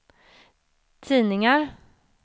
tidningar